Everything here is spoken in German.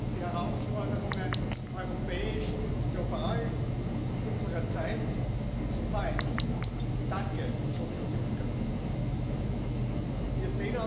für eine ausreichende Finanzierung der Kapazitäten in unserer Nachbarschaft zu sorgen. Sonst passiert das Gleiche